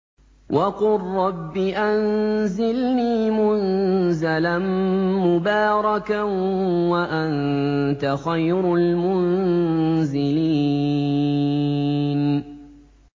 وَقُل رَّبِّ أَنزِلْنِي مُنزَلًا مُّبَارَكًا وَأَنتَ خَيْرُ الْمُنزِلِينَ